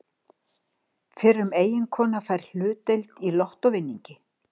Fyrrum eiginkona fær hlutdeild í lottóvinningi